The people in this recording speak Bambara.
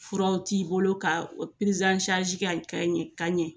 Furaw t'i bolo ka o kɛ ka ɲɛ